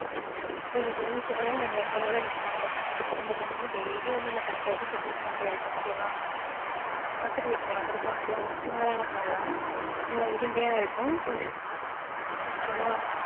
ஒரு rose ஓட, letter ஓட நிக்கும். அந்த பையன் கிட்ட அந்த பொண்ணு வந்து daily வந்து அந்த பையன் கிட்ட வந்து propose பண்ணிட்டே இருக்கும். okay வா? பக்கத்து வீட்டு பொண்ணு, அது கொஞ்சம், சுமாரான பொண்ணுதான். நல்லா உருண்டையா இருக்கும். okay வா?